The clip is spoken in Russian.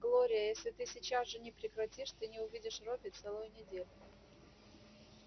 глория если ты сейчас же не прекратишь ты не увидишь робби целую неделю